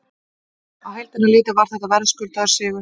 Á heildina litið var þetta verðskuldaður sigur.